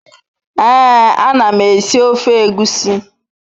Ee anam esi ofe egwusi